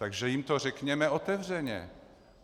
Takže jim to řekněme otevřeně.